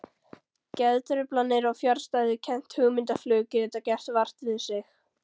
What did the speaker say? Geðtruflanir og fjarstæðukennt hugmyndaflug geta gert vart við sig.